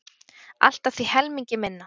Allt að því helmingi minna.